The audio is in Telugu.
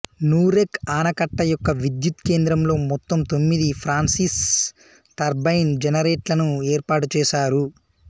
నూరెక్ ఆనకట్ట యొక్క విద్యుత్ కేంద్రంలో మొత్తం తొమ్మిది ఫ్రాన్సిస్ టర్బైన్ జనరేటర్లను ఏర్పాటు చేశారు